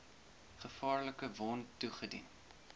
gevaarlike wond toegedien